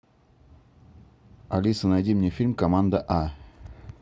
алиса найди мне фильм команда а